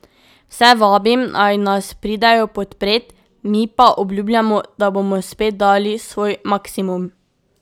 Vse vabim, naj nas pridejo podpret, mi pa obljubljamo, da bomo spet dali svoj maksimum.